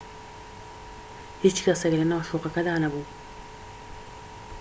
هیچ کەسێك لەناو شوقەکەدا نەبوو